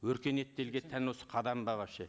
өркениетті елге тән осы қадам ба вообще